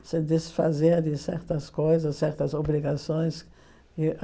Se desfazer de certas coisas, certas obrigações. E